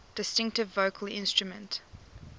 distinctive vocal instrument